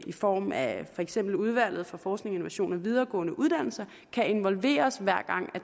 i form af for eksempel udvalget for forskning innovation og videregående uddannelser kan involveres hver gang